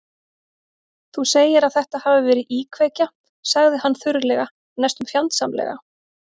Þú segir að þetta hafi verið íkveikja- sagði hann þurrlega, næstum fjandsamlega.